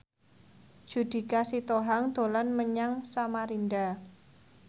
Judika Sitohang dolan menyang Samarinda